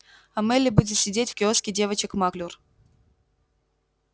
а мелли будет сидеть в киоске девочек маклюр